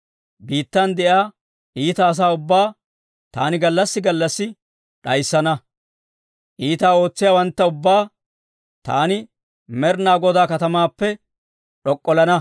Biittan de'iyaa iita asaa ubbaa, taani gallassi gallassi d'ayissana; iitaa ootsiyaawantta ubbaa, taani Med'inaa Godaa katamaappe d'ok'ollana.